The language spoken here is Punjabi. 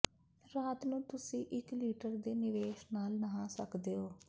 ਰਾਤ ਨੂੰ ਤੁਸੀਂ ਇਕ ਲੀਟਰ ਦੇ ਨਿਵੇਸ਼ ਨਾਲ ਨਹਾ ਸਕਦੇ ਹੋ